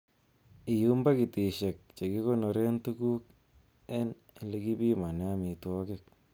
Iyum pakitisiek che kikonooren tuguk en ele kipimonen amitwogik.